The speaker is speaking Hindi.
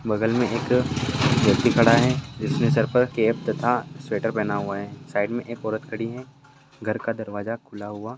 बगल मे एक व्यक्ति खड़ा है जिसने सरपर कैप तथा स्वेटर पहना हुआ है। साइड मे एक औरत खड़ी है। घर का दरवाजा खुला हुआ--